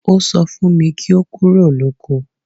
Ó sọ fun kí ó kúrò lóko